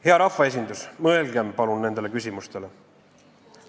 Hea rahvaesindus, mõelgem palun nendele küsimustele.